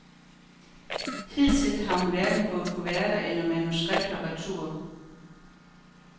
Hidtil har hun hverken fået kuverter eller manuskripter retur.